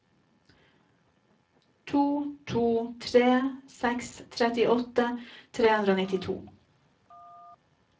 to to tre seks trettiåtte tre hundre og nittito